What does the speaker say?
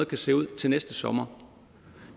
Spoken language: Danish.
kan se ud til næste sommer